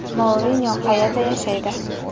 Mourinyo qayerda yashaydi?